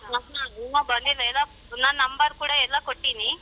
ಹ್ಮ ಹಾ ಇನ್ನ ಬಂದಿಲ್ಲ ಎಲ್ಲ ನನ್ number ಕೂಡ ಎಲ್ಲ ಕೊಟ್ಟಿನಿ.